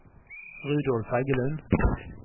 Rudolf Heggelund